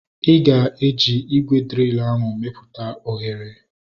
Ịga eji ígwè driil ahu meputa oghere